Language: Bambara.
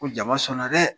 Ko jama sɔnna dɛ